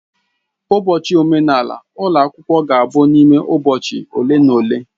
Ụbọchị omenala ụlọ akwụkwọ ga-abụ n'ime ụbọchị ole na ole.